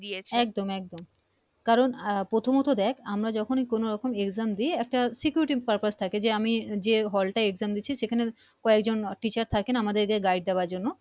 একদম একদম কারন প্রথমত দেখ আমরা যখনি কোন রকম Exam দি একটা security purpose থাকে যে আমি যে Hall টায় Exam দিচ্ছি সেখানের কয়েকজন Teacher থাকে না আমাদের কে Guide দেবার জন্য